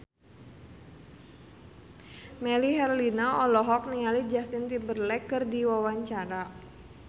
Melly Herlina olohok ningali Justin Timberlake keur diwawancara